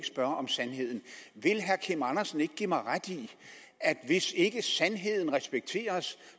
spørge om sandheden vil herre kim andersen ikke give mig ret i at hvis ikke sandheden respekteres